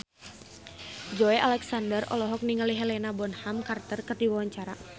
Joey Alexander olohok ningali Helena Bonham Carter keur diwawancara